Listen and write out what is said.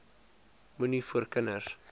moenie voor kinders